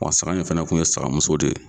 Wa saga in fana kun ye sagamuso de ye.